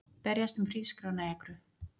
Berjast um hrísgrjónaekru